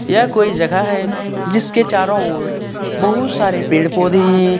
यह कोई जगह है जिसके चारों ओर बहुत सारे पेड़ पौधे है।